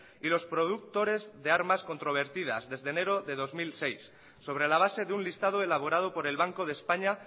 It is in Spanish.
y los productores de armas controvertidas desde enero dos mil seis sobre la base de un listado elaborado por el banco de españa